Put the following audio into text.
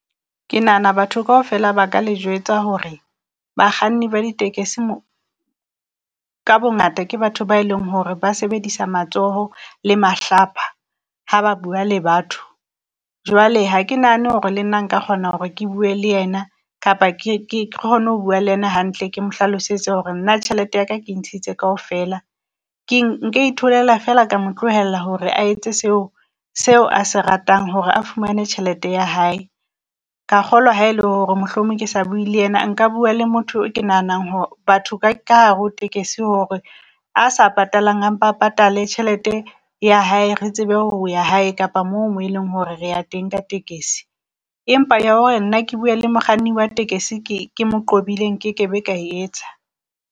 Ke nahana batho kaofela ba ka le jwetsa hore bakganni ba ditekesi ka bongata ke batho ba leng hore ba sebedisa matsoho le mahlapa ha ba bua le batho. Jwale ha ke nahane hore le nna nka kgona hore ke bue le yena kapa ke ke kgone ho bua le yena hantle, ke mo hlalosetse hore nna tjhelete ya ka ke e ntshitse kaofela. Ke nka itholela fela ka mo tlohela hore a etse seo seo a se ratang hore a fumane tjhelete ya hae. Ka kgolwa ha e le hore mohlomong ke sa bue le yena, nka bua le motho ke nahanang hore batho ka hare ho tekesi hore a sa patalang, a mpa a patale tjhelete ya hae. Re tsebe ho ya hae kapa mo e leng hore re ya teng ka tekesi. Empa ya hore nna ke bue le mokganni wa tekesi, ke ke mo qobile nkekebe ka e etsa.